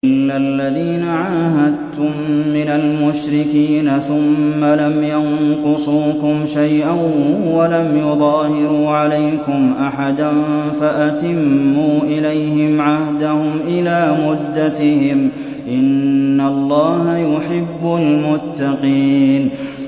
إِلَّا الَّذِينَ عَاهَدتُّم مِّنَ الْمُشْرِكِينَ ثُمَّ لَمْ يَنقُصُوكُمْ شَيْئًا وَلَمْ يُظَاهِرُوا عَلَيْكُمْ أَحَدًا فَأَتِمُّوا إِلَيْهِمْ عَهْدَهُمْ إِلَىٰ مُدَّتِهِمْ ۚ إِنَّ اللَّهَ يُحِبُّ الْمُتَّقِينَ